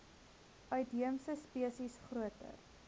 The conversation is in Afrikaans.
uitheemse spesies groter